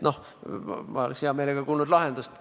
Noh, ma oleks hea meelega kuulnud lahendust.